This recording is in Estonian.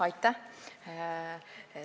Aitäh!